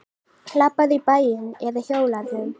Labbaðu í bæinn eða hjólaðu.